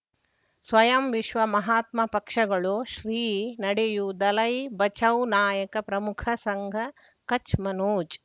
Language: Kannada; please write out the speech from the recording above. ಸ್ವಯಂ ವಿಶ್ವ ಮಹಾತ್ಮ ಪಕ್ಷಗಳು ಶ್ರೀ ನಡೆಯೂ ದಲೈ ಬಚೌ ನಾಯಕ ಪ್ರಮುಖ ಸಂಘ ಕಚ್ ಮನೋಜ್